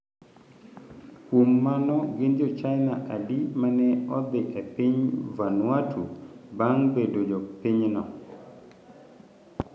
Kuom mano, gin jo China adi ma ne odhi e piny Vanuatu bang ' bedo jopinyno?